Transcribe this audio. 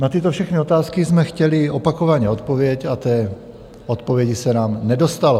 Na tyto všechny otázky jsme chtěli opakovaně odpověď a té odpovědi se nám nedostalo.